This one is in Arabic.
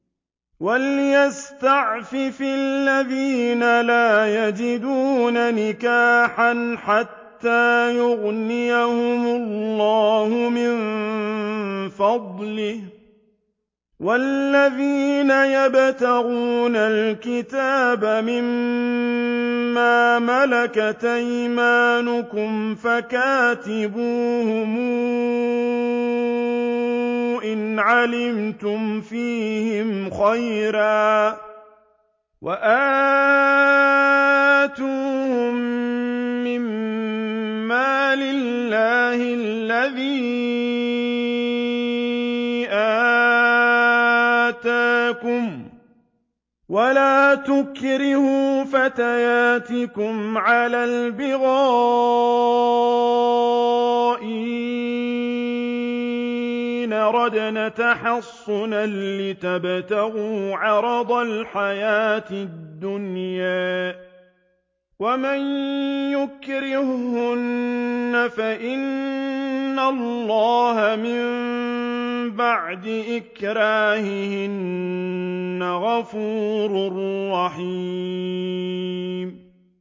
وَلْيَسْتَعْفِفِ الَّذِينَ لَا يَجِدُونَ نِكَاحًا حَتَّىٰ يُغْنِيَهُمُ اللَّهُ مِن فَضْلِهِ ۗ وَالَّذِينَ يَبْتَغُونَ الْكِتَابَ مِمَّا مَلَكَتْ أَيْمَانُكُمْ فَكَاتِبُوهُمْ إِنْ عَلِمْتُمْ فِيهِمْ خَيْرًا ۖ وَآتُوهُم مِّن مَّالِ اللَّهِ الَّذِي آتَاكُمْ ۚ وَلَا تُكْرِهُوا فَتَيَاتِكُمْ عَلَى الْبِغَاءِ إِنْ أَرَدْنَ تَحَصُّنًا لِّتَبْتَغُوا عَرَضَ الْحَيَاةِ الدُّنْيَا ۚ وَمَن يُكْرِههُّنَّ فَإِنَّ اللَّهَ مِن بَعْدِ إِكْرَاهِهِنَّ غَفُورٌ رَّحِيمٌ